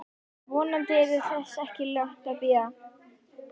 Vonandi yrði þess ekki langt að bíða.